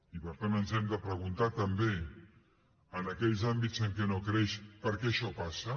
i per tant ens hem de preguntar també en aquells àmbits en què no creix per què això passa